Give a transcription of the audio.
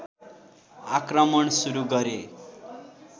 आक्रमण सुरु गरे